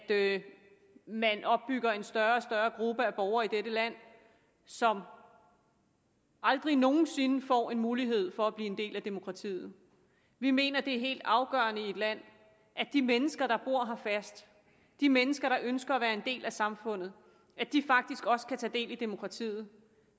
at man opbygger en større og større gruppe af borgere i dette land som aldrig nogen sinde får mulighed for at blive en del af demokratiet vi mener det er helt afgørende i et land at de mennesker der bor her fast de mennesker der ønsker at være en del af samfundet faktisk også kan tage del i demokratiet